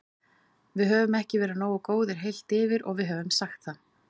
Við höfum ekki verið nógu góðir heilt yfir og við höfum sagt það.